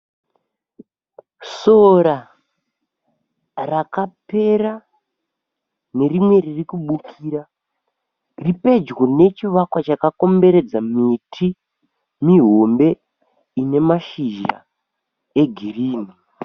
Sora rakapera nerimwe ririkubukira riripedyo nechivakwa chakakomberedza miti mihombe inemashizha egirini.